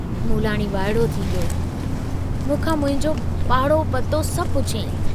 मूलाणी वाइड़ो थी वियो, मूंखां मुंहिंजो पाड़ो पतो सभु पुछियाईँ।